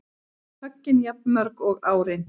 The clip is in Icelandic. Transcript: Höggin jafnmörg og árin